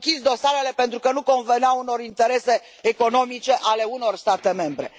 S au închis dosarele pentru că nu conveneau unor interese economice ale unor state membre.